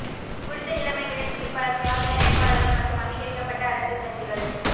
குறித்த நிலைமைகளின் கீழ் பல சுயாதீன வேட்பாளர்கள் மற்றும் அங்கீகரிக்கப்பட்ட அரசியல் கட்சிகள்